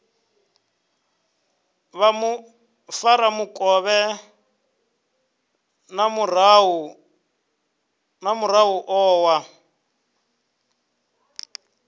vha mufaramukovhe na muraḓo wa